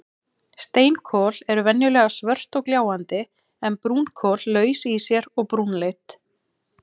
Steinkol eru venjulega svört og gljáandi en brúnkol laus í sér og brúnleit.